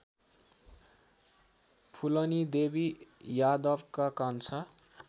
फुलनीदेवी यादवका कान्छा